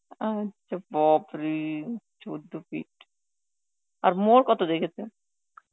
আচ্ছা, বাপরে! চোদ্দ feet, আর Hindi কত রেখেছে?